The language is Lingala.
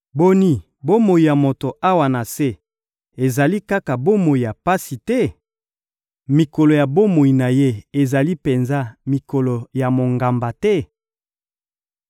Boni, bomoi ya moto awa na se ezali kaka bomoi ya pasi te? Mikolo ya bomoi na ye ezali penza mikolo ya mongamba te?